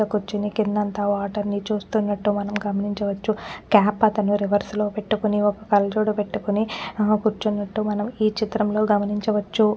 కుర్చొని కిందంతా వాటర్ ని చూస్తున్నట్లు మనం గమనించవచ్చు క్యాప్ అతను రివర్స్ లో పెట్టుకొని ఒక్క కళ్ళజోడు పెట్టుకొని ఆ కుర్చునట్టు మనం ఈ చిత్రం లో గమనించవచ్చు.